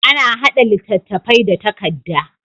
Ana haɗa littafi da takadda